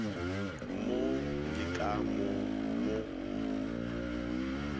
mo le ka mo mo